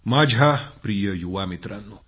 माझ्या प्रिय युवा मित्रांनो